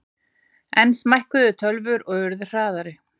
Enn smækkuðu tölvur og urðu hraðari.